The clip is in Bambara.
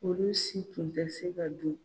Olu si tun tɛ se ka don.